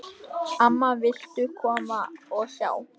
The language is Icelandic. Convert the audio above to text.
Amma, viltu koma og sjá!